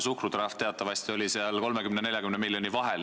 Suhkrutrahv oli teatavasti 30 ja 40 miljoni vahel.